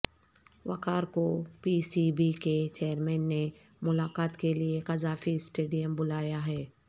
وقار کو P C B کے chairman نے ملاقات کے لیے قذافی سٹیڈیم بلایا ہے